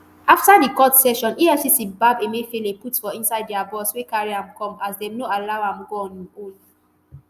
afta di court session efcc gbab emefiele put for inside dia bus wey carry am come as dem no allow am go on im own